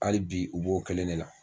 Hali bi u b'o kelen ne la.